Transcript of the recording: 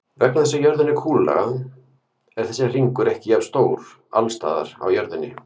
Vegna þess að jörðin er kúlulaga er þessi hringur ekki jafnstór alls staðar á jörðinni.